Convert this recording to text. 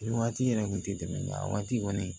Nin waati yɛrɛ kun tɛ tɛmɛ nka a waati kɔni